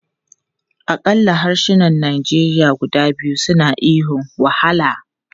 Akalla harsunan Nigeria guda biyu suna ihun 'wahala!'